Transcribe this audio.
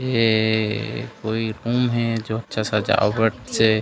ए कोई रूम हे जो अच्छा सजावट से--